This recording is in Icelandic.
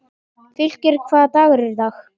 Fylkir, hvaða dagur er í dag?